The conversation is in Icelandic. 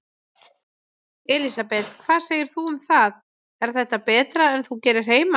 Elísabet: Hvað segir þú um það, er þetta betra en þú gerir heima?